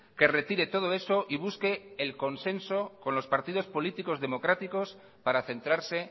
que retire todo eso y busque el consenso con los partidos políticos democráticos para centrarse